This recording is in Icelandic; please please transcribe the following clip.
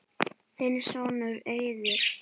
Þinn sonur, Eiður.